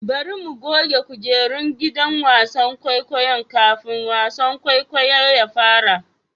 Bari mu goge kujerun gidan wasan kwaikwayo kafin wasan kwaikwayo ya fara.